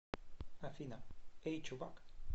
афина эй чувак